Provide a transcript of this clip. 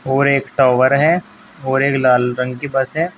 और एक टावर है और एक लाल रंग की बस है।